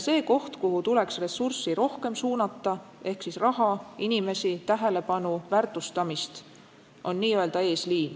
See koht, kuhu tuleks ressurssi ehk siis raha, inimesi, tähelepanu, väärtustamist rohkem suunata, on n-ö eesliin.